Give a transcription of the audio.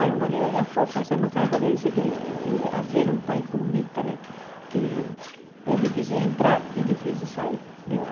Aí meu marido já foi fazer os trâmites, porque dizem que Argelia é um país comunista, que é difícil entrar e difícil sair de lá.